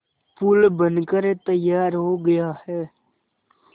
पुल बनकर तैयार हो गया है